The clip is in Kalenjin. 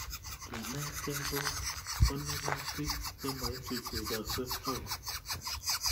Kenetkei ko konorutik che maichuchuchaksei akot